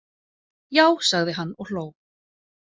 Já, sagði hann og hló.